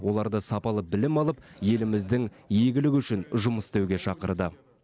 оларды сапалы білім алып еліміздің игілігі үшін жұмыс істеуге шақырды